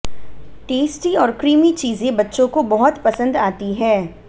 tasty और creamy चीजें बच्चों को बहुत पसंद आती हैं